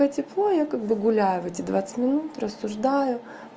пока тепло я как бы гуляю в эти двадцать минут рассуждаю